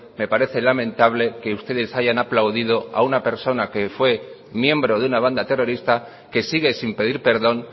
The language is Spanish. me parece lamentable que ustedes hayan aplaudido a una persona que fue miembro de una banda terrorista que sigue sin pedir perdón